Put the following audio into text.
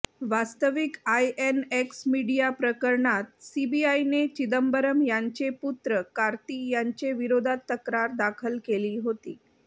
वास्तविक INX media प्रकरणात सीबीआयने चिदंबरम यांचे पुत्र कार्ती यांच्या विरोधात तक्रार दाखल केली होती